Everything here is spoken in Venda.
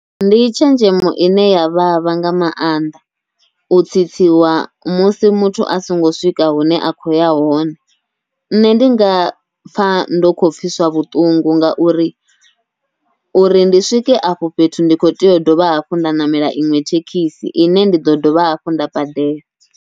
Ndi tshenzhemo ine ya vhavha nga maanḓa, u tsitsiwa musi muthu a songo swika hune a khou ya hone. Nṋe ndi nga pfha ndo kho pfhiswa vhuṱungu, ngauri uri ndi swike afho fhethu ndi khou tea u dovha hafhu nda ṋamela iṅwe thekhisi, ine ndi ḓo dovha hafhu nda badela.